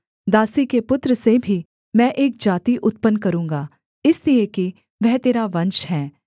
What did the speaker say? दासी के पुत्र से भी मैं एक जाति उत्पन्न करूँगा इसलिए कि वह तेरा वंश है